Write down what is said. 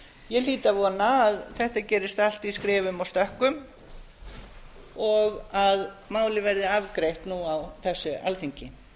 ég hlýt að vona að þetta gerist allt í skrefum og stökkum og að málið verði afgreitt nú á þessu alþingi